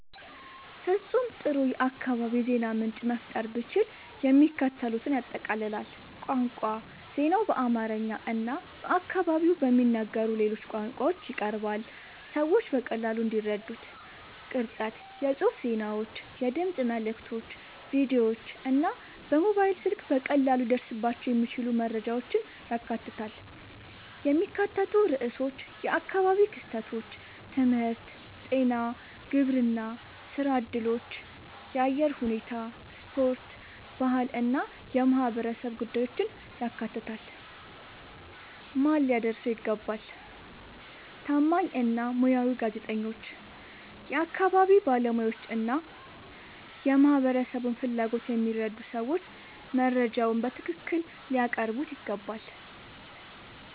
ፍጹም ጥሩ የአካባቢ የዜና ምንጭ መፍጠር ብችል፣ የሚከተሉትን ያጠቃልላል፦ ቋንቋ ዜናው በአማርኛ እና በአካባቢው በሚነገሩ ሌሎች ቋንቋዎች ይቀርባል፣ ሰዎች በቀላሉ እንዲረዱት። ቅርጸት የጽሑፍ ዜናዎች፣ የድምፅ መልዕክቶች፣ ቪዲዮዎች እና በሞባይል ስልክ በቀላሉ ሊደረስባቸው የሚችሉ መረጃዎችን ያካትታል። የሚካተቱ ርዕሶች የአካባቢ ክስተቶች፣ ትምህርት፣ ጤና፣ ግብርና፣ ሥራ እድሎች፣ የአየር ሁኔታ፣ ስፖርት፣ ባህል እና የማህበረሰብ ጉዳዮችን ያካትታል። ማን ሊያደርሰው ይገባ? ታማኝ እና ሙያዊ ጋዜጠኞች፣ የአካባቢ ባለሙያዎች እና የማህበረሰቡን ፍላጎት የሚረዱ ሰዎች መረጃውን በትክክል ሊያቀርቡት ይገባል።